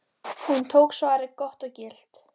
Hún tók svarið gott og gilt.